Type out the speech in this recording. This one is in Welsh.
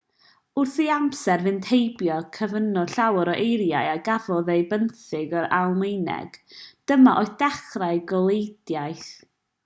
wrth i amser fynd heibio cyfunodd llawer o eiriau a gafodd eu benthyg o'r almaeneg dyma oedd dechrau goleuedigaeth